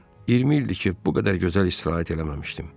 20 ildir ki, bu qədər gözəl istirahət eləməmişdim.